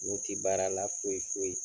U tɛ baara la foyi foyi.